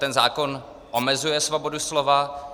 Ten zákon omezuje svobodu slova.